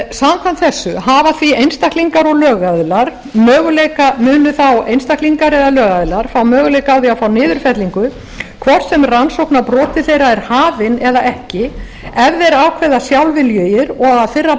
samkvæmt þessu munu þá einstaklingar og lögaðilar fá möguleika á því að fá niðurfellingu hvort sem rannsókn á broti þeirra er hafin eða ekki ef þeir ákveða sjálfviljugir og að fyrra